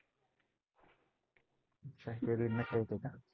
अच्छा वेगळी नशा येते का?